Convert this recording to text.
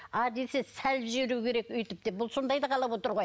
а десе салып жіберу керек деп бұл сондайды қалап отыр ғой